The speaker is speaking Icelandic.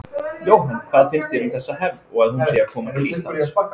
Jóhann: Hvað finnst þér um þessa hefð og að hún sé að koma til Íslands?